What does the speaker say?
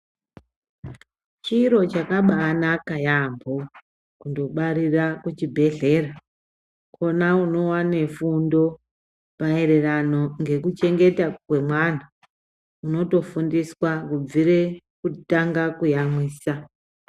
Chiro chakabaanaka yampho kundobarira kuchibhedhlera kona unoona fundo maererano ngekucheta kwemwana unotofunfiswa kubvira kutanga kuyamwisa.